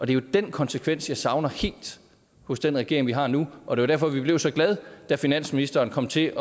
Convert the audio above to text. det er den konsekvens jeg savner helt hos den regering vi har nu og det derfor vi blev så glade da finansministeren kom til